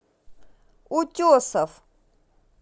утесов